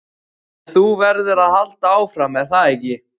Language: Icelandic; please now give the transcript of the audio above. En þú verður að halda áfram, er það ekki?